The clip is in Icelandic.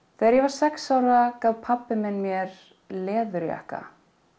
þegar ég var sex ára gaf pabbi minn mér leðurjakka